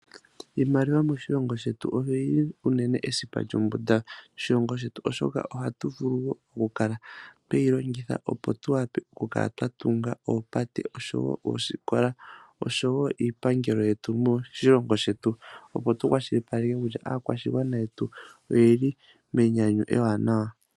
Iimaliwa moshilongo shetu oyili unene esipa lyombunda lyoshilongo shetu oshoka ohatu vulu okukala tweyi longitha okukala twatunga oopate ,oshowo oosikola oshowo iipangelo yetu moshilongo shetu opo tukwashilipaleke kutya aakwashigwana yetu oyeli menyanyu ewanawa.